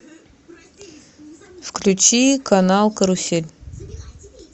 включи канал карусель